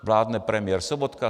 Vládne premiér Sobotka.